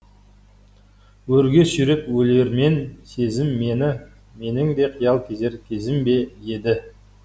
өрге сүйреп өлермен сезім мені менің де қиял кезер кезім бе еді